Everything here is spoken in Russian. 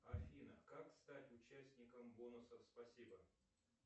афина как стать участником бонусов спасибо